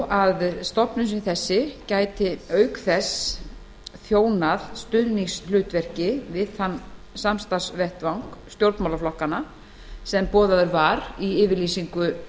að stofnun sem þessi gæti auk þess þjónað stuðningshlutverki við þann samstarfsvettvang stjórnmálaflokkanna sem boðaður var í yfirlýsingu